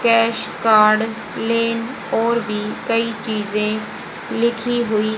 cash card लेन और भी कई चीजें लिखी हुई--